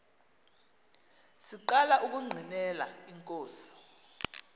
siqala ukungqinela inkosi